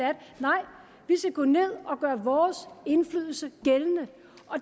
skal gå ned og gøre vores indflydelse gældende